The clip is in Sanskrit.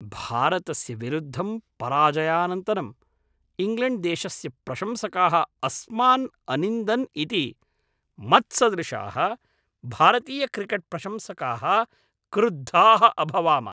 भारतस्य विरुद्धं पराजयानन्तरम् इङ्ग्लेण्ड्देशस्य प्रशंसकाः अस्मान् अनिन्दन् इति मत्सदृशाः भारतीयक्रिकेट्प्रशंसकाः क्रुद्धाः अभवाम।